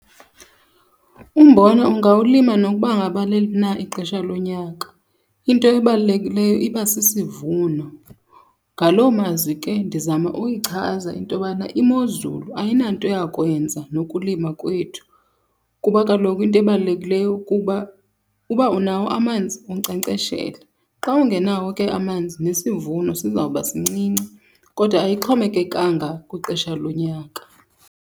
Umbona ungawulima nokuba ngaba leliphi na ixesha lonyaka. Into ebalulekileyo iba sisivuno. Ngaloo mazwi ke ndizama uyichaza into yobana imozulu ayinanto yakwenza nokulima kwethu, kuba kaloku into ebalulekileyo kuba uba unawo amanzi unkcenkceshele. Xa ungenawo ke amanzi nesivuno sizawuba sincinci. Kodwa ayixhomekekanga kwixesha lonyaka.